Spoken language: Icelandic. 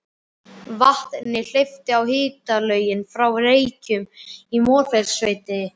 Vatni hleypt á hitalögn frá Reykjum í Mosfellssveit.